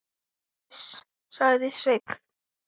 Iss, sagði Sveinn.